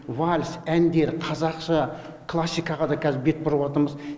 вальс әндер қазақша классикаға да қазір бет бұрып отырмыз